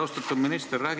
Austatud minister!